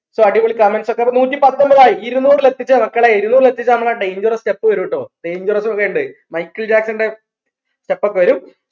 so അടിപൊളി comments ഒക്കെ അപ്പൊ നൂറ്റിപ്പത്തൊമ്പതായി ഇരുന്നൂറിൽ എത്തിച്ചാ മക്കളെ ഇരുന്നൂറിൽ എത്തിച്ച നമ്മളെ dangerous step വെരൂട്ടോ dangerous ഒക്കെ ഇണ്ട് മൈക്കിൾ ജാക്സൺന്റെ step ഒക്കെ വെരും